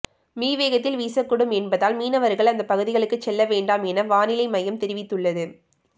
me வேகத்தில் வீசக்கூடும் என்பதால் மீனவர்கள் அந்த பகுதிகளுக்கு செல்ல வேண்டாம் என வானிலை மையம் தெரிவித்துள்ளது